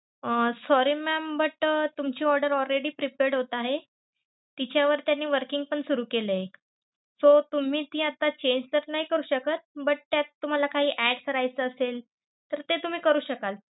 Uh sorry mam but तुमची order already preprad होत आहे. तिच्यावर त्यानी working पण सुरु केलाय. so तुम्ही आता ती change तर नाय करू शकत but त्यात तुम्हाला कायही add करायचं असेल तर ते तुम्ही करू शकाल.